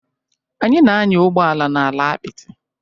Anyị na-anya ụgbọ ala n'ala apịtị